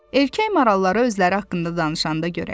Erkək maralları özləri haqqında danışanda görəydin.